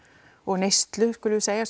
og neyslu skulum við segja